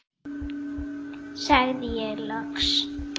sagði ég loks.